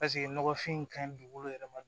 Paseke nɔgɔfin in ka ɲi dugukolo yɛrɛ ma